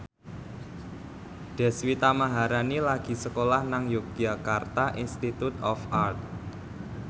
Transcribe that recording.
Deswita Maharani lagi sekolah nang Yogyakarta Institute of Art